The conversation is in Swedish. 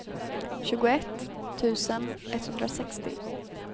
tjugoett tusen etthundrasextio